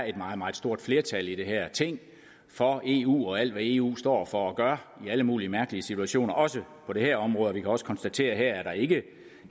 er et meget meget stort flertal i det her ting for eu og for alt hvad eu står for og gør i alle mulige mærkelige situationer også på det her område vi kan også konstatere at der ikke